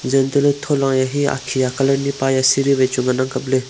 zeh antoh lah ley thola ke hia akhi colour ni e pa kya ngan ang kap ley.